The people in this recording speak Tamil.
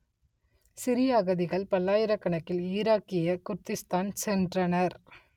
சிரிய அகதிகள் பல்லாயிரக்கணக்கில் ஈராக்கிய குர்திஸ்தான் சென்றனர்